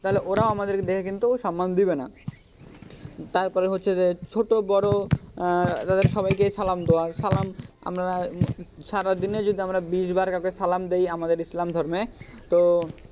তাহলে ওরাও আমাদেরকে দেখে কিন্তু সম্মান দিবে না তারপরে হচ্ছে যে ছোট বড়ো তাদের সবাইকে সালাম দেওয়া সালাম আমরা সারাদিনে যদি আমরা বিশ বার কাউকে সালাম দি আমাদের ইসলাম ধর্মে,